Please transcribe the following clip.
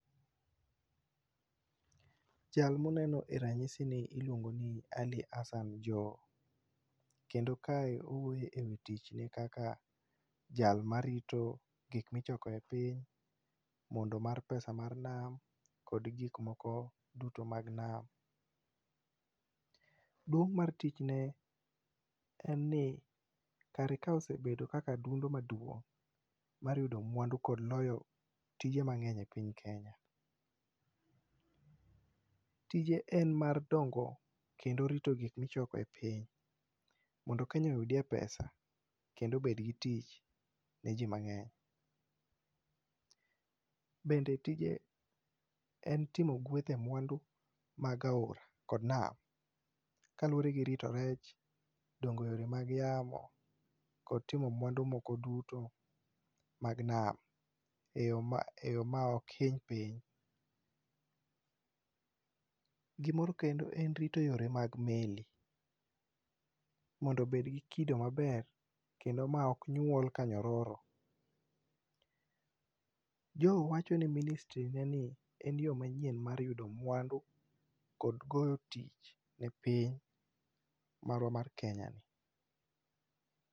Jal ma une no e ranyisini iluongo ni Ali Hassan Joho. Kendo kae owuoyo ewi tichne kaka jal marito gik ma ichoko e piny mo ndo mar pesa mar nam kod gik moko duto mag nam. Duong' mar tichne en ni kare kae osebedo kaka adundo maduong' mar yud mwandu kod loyo tije mang'eny e piny Kenya. Tije en mar dongo kod rito gik mang'eny e piny mondo Kenya oyudie pesa kendo obed gi tich ne ji mang'eny. Bende tije en timo gweth e mwandu mag aora kod nam kaluwore gi rito rech, dongo eyore mag yamo kod imo mandu moko duto eyo ma eyo maok hiny piny. Gimoro kendo en rito yore mag meli mondo obed gi kido maber kendo maok nyuol ka nyororo. Joho wacho ni ministry neni en yoo manyien mar yudo mwandu kod go tich ne piny marwa mar Kenya ni.